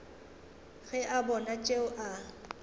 ge a bona tšeo a